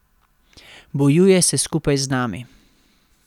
Bojuje se skupaj z nami.